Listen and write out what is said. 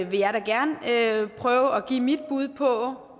vil jeg da gerne prøve at give mit bud på